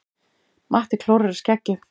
Matti klórar í skeggið.